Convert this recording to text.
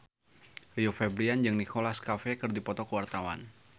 Rio Febrian jeung Nicholas Cafe keur dipoto ku wartawan